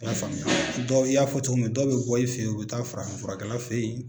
I y'a faamuya dɔ i y'a fɔ cogo min na dɔw bɛ bɔ i fɛ ye u bɛ taa farafinfurakɛla fɛ ye.